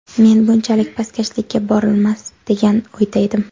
Men bunchalik pastkashlikka borilmas, degan o‘yda edim.